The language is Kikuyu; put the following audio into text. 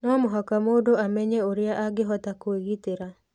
No mũhaka mũndũ amenye ũrĩa angĩhota kwĩgitĩra.